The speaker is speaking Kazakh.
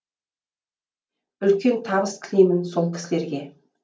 үлкен табыс тілеймін сол кісілерге